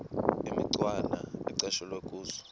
imicwana ecatshulwe kuzo